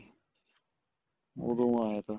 ਉਦੋਂ ਆਇਆ ਥਾ